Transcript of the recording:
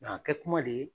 a kɛ kuma de ye